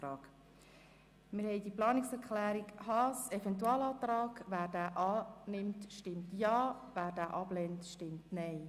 Wer der Planungserklärung 3 Haas, Eventualantrag, zustimmt, stimmt Ja, wer diese ablehnt, stimmt Nein.